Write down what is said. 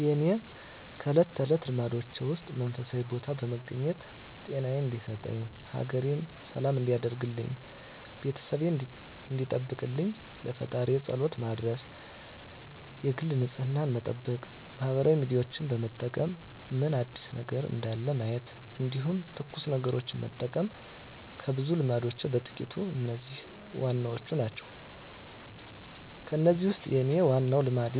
የእኔ ከእለት ተለት ልማዶቼ ውስጥ መንፈሳዊ ቦታ በመገኘት ጤናየን እንዲሰጠኝ፣ ሀገሬን ሰላም እንዲያደርግልኝ፣ ቤተሰቤን እንዲጠብቅልኝ ለፈጣሪየ ፀሎት መድረስ የግል ንፅህናየን መጠበቅ ማህበራዊ ሚዲያዎችን በመጠቀም ምን አዲስ ነገር እንዳለ ማየት እንዲሁም ትኩስ ነገሮችን መጠቀም ከብዙ ልማዶቼ በጥቂቱ እነዚህ ዋናዎቹ ናቸው። ከእነዚህ ውስጥ የኔ ዋናው ልማዴ